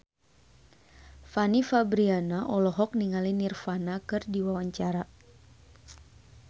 Fanny Fabriana olohok ningali Nirvana keur diwawancara